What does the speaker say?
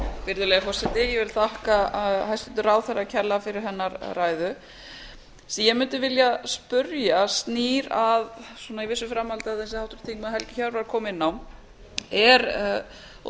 virðulegi forseti ég vil þakka hæstvirtum ráðherra kærlega fyrir hennar ræðu ég mundi vilja spyrja snýr að svona í vissu framhaldi af því sem háttvirtur þingmaður helgi hjörvar kom inn á og